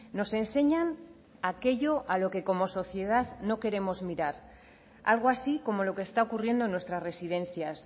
nos enseñan aquello a lo que como sociedad no queremos mirar algo así como lo que está ocurriendo en nuestras residencias